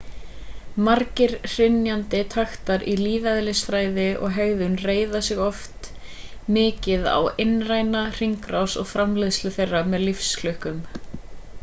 margir hrynjandi taktar í lífeðlisfræði og hegðun reiða sig oft mikið á innræna hringrás og framleiðslu þeirra með lífklukkum